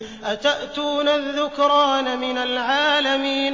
أَتَأْتُونَ الذُّكْرَانَ مِنَ الْعَالَمِينَ